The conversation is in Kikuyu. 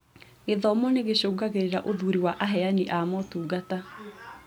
Gĩthomo nĩgĩcũngagĩrĩria ũthuuri wa aheani a motungata